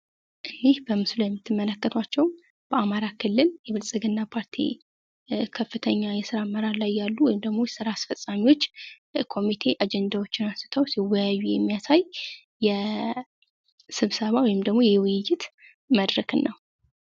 ይህ በምስሉ ላይ የምትመለከታቸው በአማራ ክልል የብልጽግና ፓርቲ ከፍተኛ የስራ አመራር ላይ ያሉ ወይም ደግሞ የስራ አስፈጻሚዎች ኮሚቴ አጀንዳዎችን አንስተው ሲወያዩ የሚያሳይ የስብሰባ ወይም ደግሞ የውይይት መድረክ ነው